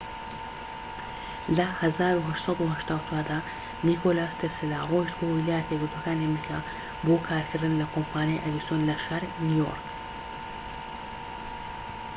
لە ١٨٨٤ دا نیکۆلا تێسلا ڕۆیشت بۆ ویلایەتە یەکگرتوەکانی ئەمریکا بۆ کارکردن لە کۆمپانیای ئەدیسۆن لە شاری نیو یۆرک